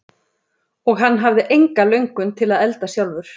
Og hann hafði enga löngun til að elda sjálfur.